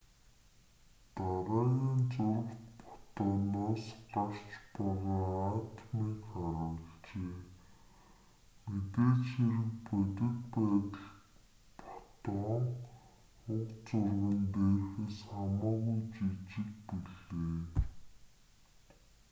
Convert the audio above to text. дараагийн зурагт фотоноос гарч байгаа атомыг харуулжээ мэдээж хэрэг бодит байдалд фотон уг зурган дээрхээс хамаагүй жижиг билээ